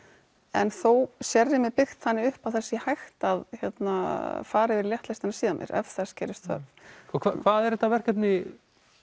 en þó sérrými byggt þannig upp að það sé hægt að hérna fara yfir í léttlestina síðar meir ef þess gerist þörf og hvað er þetta verkefni